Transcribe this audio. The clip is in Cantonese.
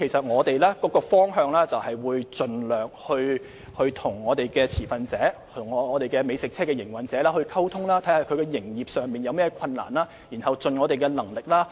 我們的方向就是盡量與持份者，即美食車營運者溝通，了解他們在營運上有何困難，然後再盡一切努力協助。